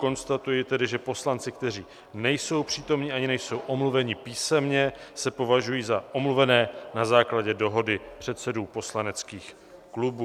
Konstatuji tedy, že poslanci, kteří nejsou přítomni ani nejsou omluveni písemně, se považují za omluvené na základě dohody předsedů poslaneckých klubů.